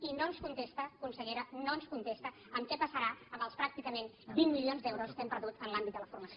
i no ens contesta consellera no ens contesta què passarà amb els pràcticament vint milions d’euros que hem perdut en l’àmbit de la formació